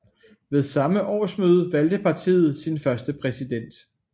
Ved samme årsmøde valgte partiet sin første præsident